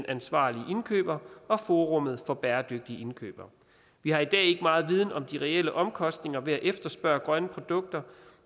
ansvarlige indkøbere wwwcsr og forum for bæredygtige indkøb vi har i dag ikke meget viden om de reelle omkostninger ved at efterspørge grønne produkter